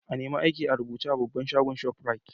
I nema aiki a rubuce a babban shagon' shoprite.